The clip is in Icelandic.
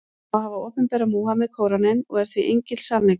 Hann á að hafa opinberað Múhameð Kóraninn, og er því engill sannleikans.